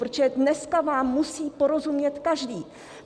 Protože dneska vám musí porozumět každý.